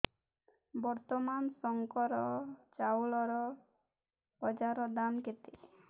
ବର୍ତ୍ତମାନ ଶଙ୍କର ଚାଉଳର ବଜାର ଦାମ୍ କେତେ